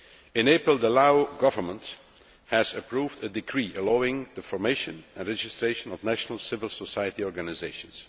In April, the Laos Government approved a decree allowing the formation and registration of national civil society organisations.